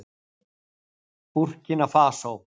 Búrkína Fasó